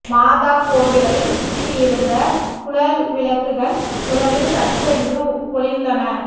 மாதா கோவிலைச் சுற்றி இருந்த குழல்விளக்குகள் முதலில் சட்டென்று ஒளிர்ந்தன